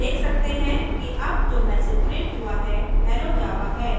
जैसे हम देख सकते हैं कि अब जो मैसेज प्रिंट हुआ है hello java है